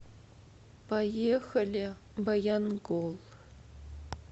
поехали баянгол